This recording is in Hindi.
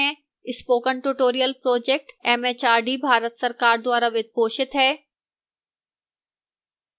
spoken tutorial project mhrd Bharat सरकार द्वारा वित्त पोषित है